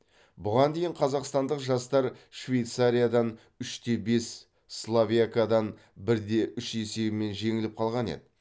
бұған дейін қазақстандық жастар швейцариядан үш те бес словакиядан бір де үш есебімен жеңіліп қалған еді